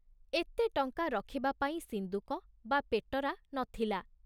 ଏତେଟଙ୍କା ରଖିବା ପାଇଁ ସିନ୍ଦୁକ ବା ପେଟରା ନ ଥିଲା।